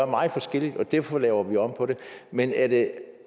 meget forskelligt og derfor laver vi om på det men er det